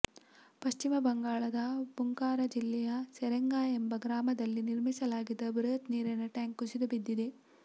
ಪಶ್ಚಿಮ ಬಂಗಾಳದ ಬಂಕುರಾ ಜಿಲ್ಲೆಯ ಸರೆಂಗಾ ಎಂಬ ಗ್ರಾಮದಲ್ಲಿ ನಿರ್ಮಿಸಲಾಗಿದ್ದ ಬೃಹತ್ ನೀರಿನ ಟ್ಯಾಂಕ್ ಕುಸಿದುಬಿದ್ದಿದೆ